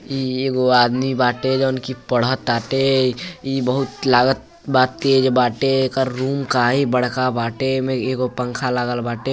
इ एगो आदमी बाटे जोन कि पढ़ताटे। ई बहुत लागत बा तेज बाटे। एकर रूम काहि बड़का बाटे। एमे एगो पंखा लागल बाटे।